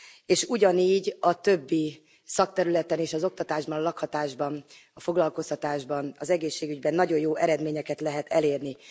És ugyanígy a többi szakterületen és az oktatásban, lakhatásban, a foglalkoztatásban, az egészségügyben nagyon jó eredményeket lehet elérni.